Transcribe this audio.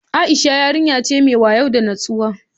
Aisha yarinya ce mai wayo da nutsuwa